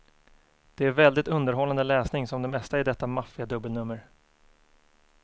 Det är väldigt underhållande läsning, som det mesta i detta maffiga dubbelnummer.